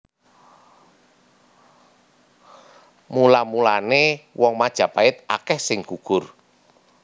Mula mulané wong Majapait akèh sing gugur